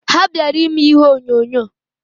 Ha bịara ime ihe onyonyo.